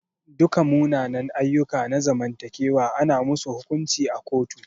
Duka munanan ayyuka na zamantakewa ana musu hukunci a kotu.